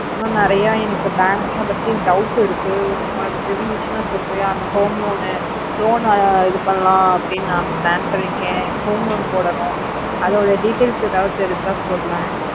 இன்னும் நேரிய banks பத்தி doubts இருக்கு உனக்கு தெரிஞ்சிதுன்னா சொல்லரிய அந்த home loan loan இது பண்ணலாம் plan பண்ணிருக்கேன் home loan பொடுனோம் அத்தோட details ஏதாவது தெரிஞ்ச சொல்ல